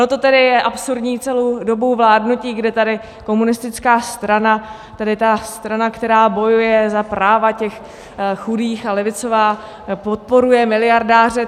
Ono to tedy je absurdní celou dobu vládnutí, kde tady komunistická strana, tedy ta strana, která bojuje za práva těch chudých a levicová, podporuje miliardáře.